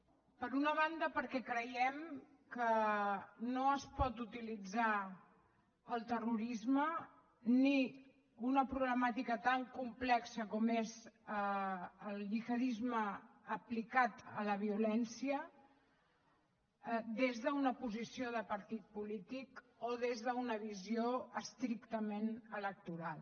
per una banda perquè creiem que no es pot utilitzar el terrorisme ni una problemàtica tan complexa com és el gihadisme aplicat a la violència des d’una posició de partit polític o des d’una visió estrictament electoral